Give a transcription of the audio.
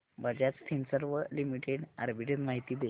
Bajaj Finserv limited arbitrage माहिती दे